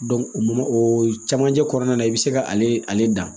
o mɔ o camancɛ kɔnɔna na i bɛ se k'ale ale dan